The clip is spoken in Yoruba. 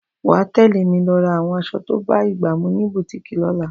Wàá tẹ̀lé mi lọ ra àwọn aṣọ tó bá ìgbà mu ní bùtíìkì lọ́la!